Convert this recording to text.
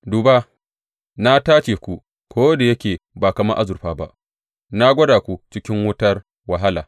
Duba, na tace ku, ko da yake ba kamar azurfa ba; na gwada ku cikin wutar wahala.